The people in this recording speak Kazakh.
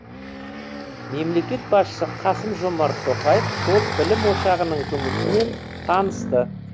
мемлекет басшысы қасым жомарт тоқаев сол білім ошағының жұмысымен танысты